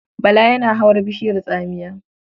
Bala yana hawar bishiyar tsamiya.